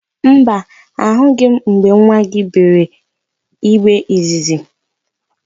Mba, ahụghị m mgbe nwa gị gbere igbe izizi.